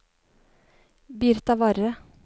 Birtavarre